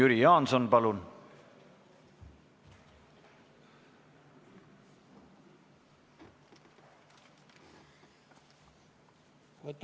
Jüri Jaanson, palun!